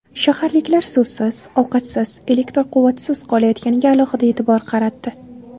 Shaharliklar suvsiz, ovqatsiz, elektr quvvatisiz qolayotganiga alohida e’tibor qaratdi.